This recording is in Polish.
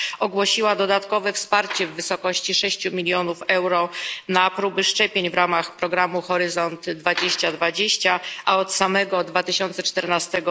ogłosiła dodatkowe wsparcie w wysokości 6 milionów euro na próby szczepień w ramach programu Horyzont 2020, a od samego 2014